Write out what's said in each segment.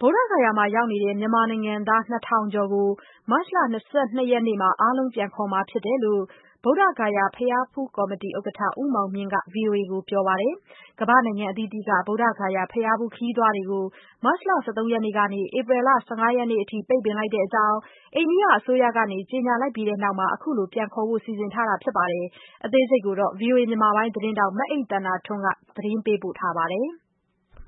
ဗုဒ္ဓဂယာမှာ ရောက်နေတဲ့ မြန်မာနိုင်ငံသား ၂,၀၀၀ ကျော်ကို မတ်လ ၂၂ ရက်နေ့မှာ အားလုံး ပြန်ခေါ်မှာဖြစ်တယ်လို့ ဗုဒ္ဓဂယာ ဘုရားဖူးကော်မတီဥက္ကဋ္ဌ ဦးမောင်မြင့်က ဗွီအိုအေကိုပြောပါတယ်။ ကမ္ဘာ့နိုင်ငံအသီးသီးက ဗုဒ္ဓဂယာဘုရားဖူး ခရီးသွားတွေကို မတ်လ ၁၃ ရက်နေ့ကနေ ဧပြီလ ၁၅ ရက်နေ့အထိ ပိတ်ပင်လိုက်တဲ့အကြောင်း အိန္ဒိယအစိုးရက ကြေညာပြီးတဲ့နောက် အခုလို ပြန်ခေါ်ဖို့ စီစဉ်ထားတာပါ။ ဗွီအိုအေသတင်းထောက် မအိမ့်သန္တာထွန်းက ဆက်ပြောပြပါမယ်။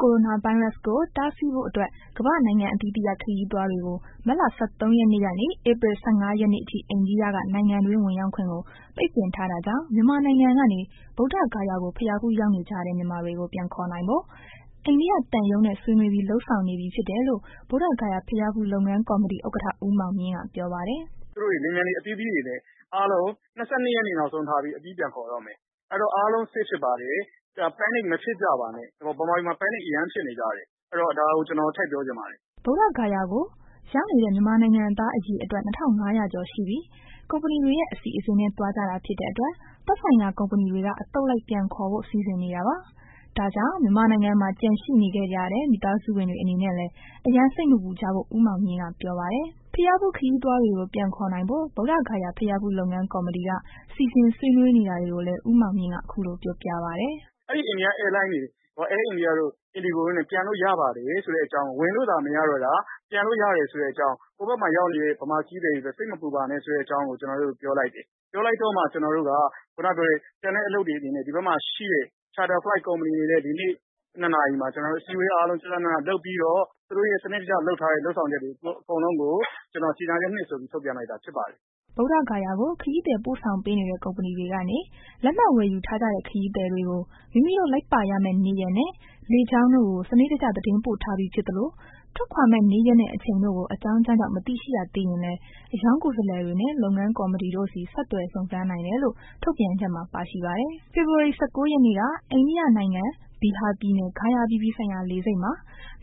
ကိုရိုနာဗိုင်းရပ်စ်ကို တားဆီးဖို့အတွက် ကမ္ဘာနိုင်ငံအသီးသီးက ခရီးသွားတွေကို မတ်လ ၁၃ ရက်နေ့ကနေ ဧပြီ ၁၅ ရက်နေ့အထိ အိန္ဒိယက နိုင်ငံအတွင်း ဝင်ရောက်ခွင့်ကို ပိတ်ပင်ထားတာကြောင့် မြန်မာနိုင်ငံကနေ ဗုဒ္ဓဂယာကို ဘုရားဖူးရောက်နေကြတဲ့ မြန်မာတွေကို ပြန်ခေါ်နိုင်ဖို့ အိန္ဒိယသံရုံးနဲ့ ဆွေးနွေးပြီး လုပ်ဆောင်နေပြီဖြစ်တယ်လို့ ဗုဒ္ဓဂယာ ဘုရားဖူး လုပ်ငန်းကော်မတီ ဥက္ကဋ္ဌ ဦးမောင်မြင့်ကပြောပါတယ်။ “သူတို့ကို လေယာဉ်ပျံတွေ အသီးသီးတွေနဲ့ ဒီလ ၂၂ ရက်နေ့ နောက်ဆုံးထားပြီး အပြီးပြန်ခေါ်တော့မယ်။ အဲ့တော့ အားလုံး save ဖြစ်ပါတယ်။ Panic မဖြစ်ကြပါနဲ့ ဗမာပြည်မှာ Panic အရမ်းဖြစ်နေကြတယ်။ အဲ့တော့ ကျနော် ဒါကို ထည့်ပြောချင်ပါတယ်။” ဗုဒ္ဓဂယာကို ရောက်နေတဲ့ မြန်မာနိုင်ငံသားအရေအတွက် ၂၅၀၀ ကျော်ရှိပြီး ကုမ္ပဏီတွေရဲ့ အစီအစဉ်နဲ့ သွားကြတာဖြစ်တဲ့ အတွက် သက်ဆိုင်ရာကုမ္ပဏီတွေက အသုတ်လိုက် ပြန်ခေါ်ဖို့ စီစဉ်နေတာပါ။ ဒါကြောင့် မြန်မာနိုင်ငံမှာ ကျန်နေခဲ့ကြတဲ့ မိသားစုဝင်တွေအနေနဲ့လည်း အရမ်းစိတ်မပူကြဖို့ ဦးမောင်မြင့်က ပြောပါတယ်။ ဘုရားဖူးခရီးသွားတွေကို ပြန်ခေါ်နိုင်ဖို့ ဗုဒ္ဓဂယာ ဘုရားဖူး လုပ်ငန်းကော်မတီက စီစဉ်ဆွေးနေီးနေတာတွေကိုလည်း ဦးမောင်မြင့်က အခုလို ပြောပြပါတယ်။ “အိန္ဒိယ Air လိုင်းတွေ Air India တို့ နဲ့ ပြန်လို့ရပါတယ်ဆိုတဲ့ အကြောင်း ဝင်လို့သာမ၇တော့တာ ပြန်လို့ရတဘ်ဆိုတဲ့အကြောင်း ဟိုဘက်မှာရောက်တေဲ့ ဗမာခရီးသည်တွေအတွက် စိတ်မပူပါနဲ့ဆိုတဲ့အကြောင်းကို ကျနော်တို့ ပြောလိုက်တယ်။ ပြောလိုက်တော့မှ ကျနော်တို့ က ကျန်တဲ့ အလုပ်တွေအနေနဲ ဒီဘက်မှာရှိတဲ့ Shutter Flight ကုမ္ပဏီတွေနဲ့ ဒီနေ့ ၂ နာရီမှာ ကျနော်တို့ အစည်းအဝေးအားလုံး ကျကျနန လုပ်ပြီးတော့ စနစ်တကျလုပ်ဆောင်ထားတဲ့ လူပ်ဆောင်ချက်တွေ အကုန်လုံးကို ကျနော်က ကြေညာချက် ၂ ဆိုပြီး ထုတ်ပြန်လိုက်တာ ဖြစ်ပါတယ်။” ဗုဒ္ဓဂယာကို ခရိးသည်ပို့ဆောင်ပေးနေတဲ့ ကုမ္ပဏီတွေကနေ လက်မှတ်ဝယ်ယူထားကြတဲ့ ခရီးသည်တွေကို မိမိတို့လိုက်ပါရမယ့် နေ့ရက်နဲ့ လေကြောင်းတို့ကို စနစ်တကျ သတင်းပို့ထားပြီးဖြစ်သလို ထွက်ခွာမယ့် နေ့ရက်နဲ့ အချိန်တို့ကို အကြောင်းကြောင်းကြောင့် မသိရှိရသေးရင်လဲ အရောင်းကိုယ်စားလှယ်နဲ့ လုပ်ငန်းကော်မတီတို့ဆီ ဆက်သွယ်စုံစမ်းနိုင်တယ်လို့ ထုတ်ပြန်ချက်မှာ ပါရှိပါတယ်။ ဖေဖော်ဝါရီ ၁၉ ရက်နေ့က အိန္ဒိယနိုင်ငံ၊ ဘီဟာပြည်နယ်၊ ဂါယာအပြည်ပြည်ဆိုင်ရာ လေဆိပ်မှာ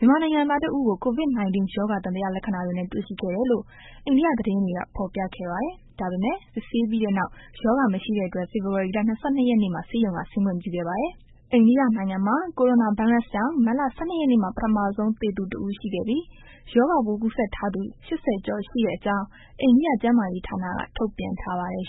မြန်မာနိုင်ငံသားတဦးကို COVID-19 ရောဂါ သံသယလက္ခဏာတွေနဲ့ တွေ့ရှိခဲ့တယ်လို့ အိန္ဒိယသတင်းတွေက ဖော်ပြခဲ့ပါတယ်။ ဒါပေမဲ့ စစ်ဆေးပြီးတဲ့နောက် ရောဂါမရှိတဲ့အတွက် ဖေဖော်ဝါရီလ ၂၂ ရက်နေ့မှာ ဆေးရုံကဆင်းခွင့်ပြုခဲ့ပါတယ်။ အိန္ဒိယနိုင်ငံမှာ ကိုရိုနာဗိုင်းရပ်စ်ကြောင့် မတ်လ ၁၂ ရက်နေ့မှာ ပထမဆုံး သေဆုံးသူ တဦးရှိခဲ့ပြီး ရောဂါပိုးကူးစက်ထားသူ ၈၀ ကျော်ရှိတဲ့အကြောင်း အိန္ဒိယ ကျန်းမာရေးဌာနက ထုတ်ပြန်ထားပါတယ်